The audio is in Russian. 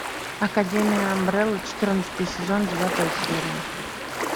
академия амбрелла четырнадцатый сезон девятая серия